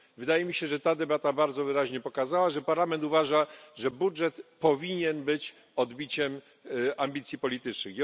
Wydaje mi się, że ta debata bardzo wyraźnie pokazała, że parlament uważa, że budżet powinien być odbiciem ambicji politycznych.